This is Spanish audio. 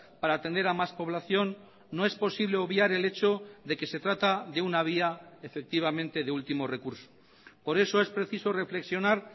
para atender a más población no es posible obviar el hecho de que se trata de una vía efectivamente de último recurso por eso es preciso reflexionar